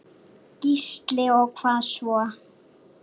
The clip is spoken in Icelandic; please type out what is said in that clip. Gísli: Og hvað svo?